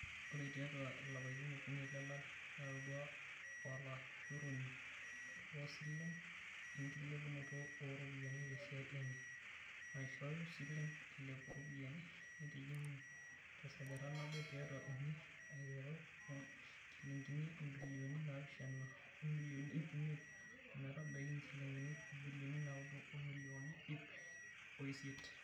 Ore tiatu lapaitin okuni leleari, netodua olashoroni loosilen enkilepunoto ooropiyiani tesiai enye naishoyu silen eilepu ropiyiani naaitijingu tesajata naboo tiatu uni aiteru oo njilingine ibilioni naapishana o milioni iip imiet ometabaiki injilingini ibilioni naaudo o milioni iip o isiet.